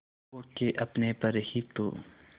खो के अपने पर ही तो